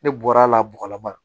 Ne bɔra a la bɔgɔlama